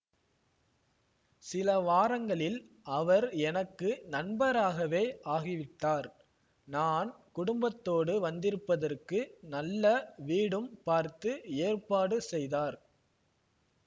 சில வாரங்களில் அவர் எனக்கு நண்பராகவே ஆகிவிட்டார் நான் குடும்பத்தோடு வந்திருப்பதற்கு நல்ல வீடும் பார்த்து ஏற்பாடு செய்தார்